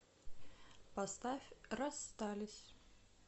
поставь расстались